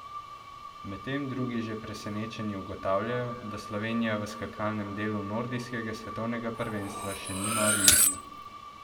Medtem drugi že presenečeni ugotavljajo, da Slovenija v skakalnem delu nordijskega svetovnega prvenstva še nima odličja.